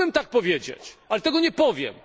Mógłbym tak powiedzieć, ale tego nie powiem.